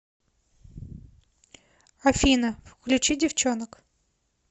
афина включи девчонок